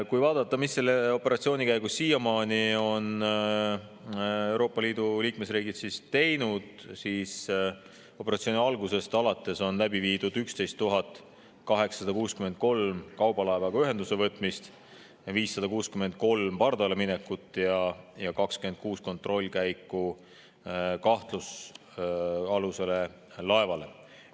Kui vaadata, mida on Euroopa Liidu liikmesriigid selle operatsiooni käigus siiamaani teinud, siis näeme, et operatsiooni algusest alates on läbi viidud 11 863 kaubalaevaga ühenduse võtmist, 563 pardaleminekut ja 26 kontrollkäiku kahtlusalusele laevale.